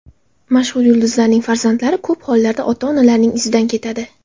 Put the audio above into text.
Mashhur yulduzlarning farzandlari ko‘p hollarda ota-onalarining izidan ketadi.